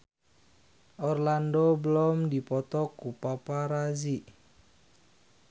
Orlando Bloom dipoto ku paparazi